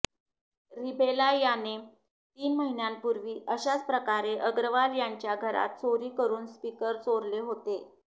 रीबेला याने तीन महिन्यांपूर्वी अशाच प्रकारे अग्रवाल यांच्या घरात चोरी करून स्पीकर चोरले होते